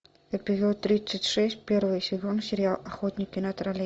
эпизод тридцать шесть первый сезон сериал охотники на троллей